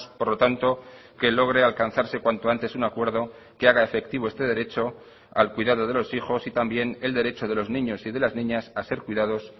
por lo tanto que logre alcanzarse cuanto antes un acuerdo que haga efectivo este derecho al cuidado de los hijos y también el derecho de los niños y de las niñas a ser cuidados